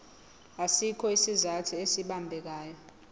asikho isizathu esibambekayo